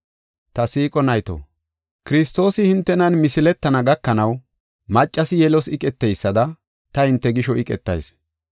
Ta siiqo nayto, Kiristoosi hintenan misiletana gakanaw maccasi yelos iqeteysada ta hinte gisho iqetayis.